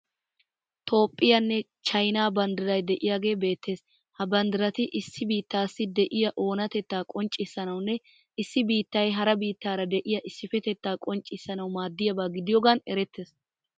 Toophphiyanne China banddiray de'iyagee beettes. Ha banddirati issi biittaassi de'iya oonatettaa qonccissanawunne issi biittayi hara biittaara de'iya issipetettaa qonccissanawu maaddiyaba gidiyogaan erettees.